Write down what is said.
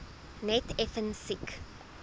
net effens siek